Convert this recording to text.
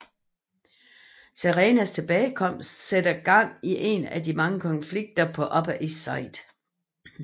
Serenas tilbagekomst sætter gang i en af mange konflikter på Upper East Side